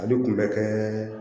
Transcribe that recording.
Ale tun bɛ kɛ